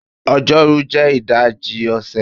Ọjọ́rú jẹ́ ìdajì ọ̀sẹ̀